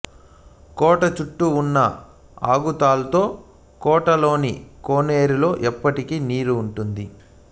కోట చుట్టూ ఉన్న అఘాతాల్లో కోటలోని కోనేరులో ఎప్పటికి నీరు ఉంటుంది